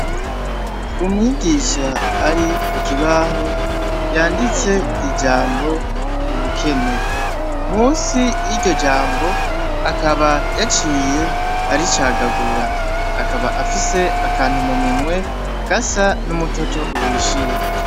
Umwigisha ari ku kibaho yanditse ijambo ubukene , munsi yiryo jambo akaba yaciye aricagagura , akaba afise akantu mu minwe gasa n'umutoto uhishiye.